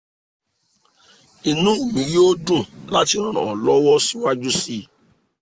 inú mi yóò dùn láti ràn ọ́ lọ́wọ́ síwájú síi